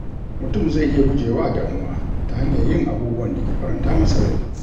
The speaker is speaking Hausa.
Mutum zai iya gujewa damuwa ta hanyar yin abubuwan da ke faranta masa rai.